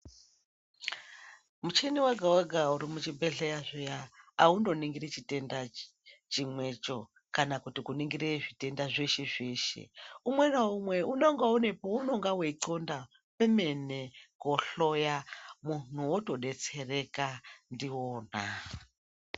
Muchini wega wega uri muzvibhedhlera zviya aundoninguri chitenda chimwecho kana kuningira zvitenda zveshe zveshe umwe naumwe unenge une paunenge weinxonda kwemene kohloya muntu wotodetsereka ndiona.